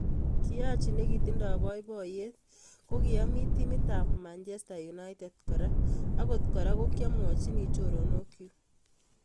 Kiachi nikitindo boiboiyet kokiami timit ab Manchester United kora, agot kora kokamwachini choronok chuk.